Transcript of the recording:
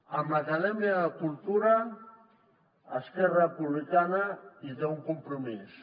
amb l’acadèmia cultura esquerra republicana hi té un compromís